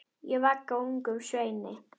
Ég vagga ungum sveini.